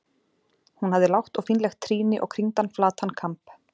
Hún hafði lágt og fínlegt trýni og kringdan flatan kamb.